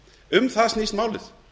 um það snýst málið